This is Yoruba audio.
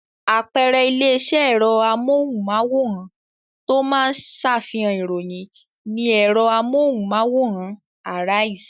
Àpẹẹrẹ ilé-iṣẹ́ ẹ̀rọ amóhùmáwòhán tó máa ń ṣàfihàn ìròyìn ni ẹ̀rọ amóhùmáwòhán Arise.